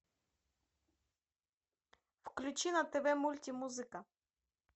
включи на тв мультимузыка